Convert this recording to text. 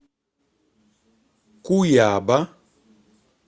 куяба